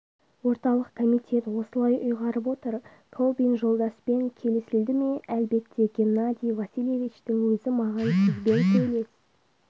орталық комитет осылай ұйғарып отыр колбин жолдаспен келісілді ме әлбетте геннадий васильевичтің өзі маған сізбен сөйлес